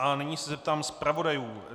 A nyní se zeptám zpravodajů.